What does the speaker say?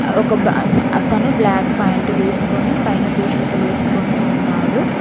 ఒక బ అతను బ్లాక్ పాయింట్ వేసుకొని పైన టీ షర్టు వేసుకొని ఉన్నాడు.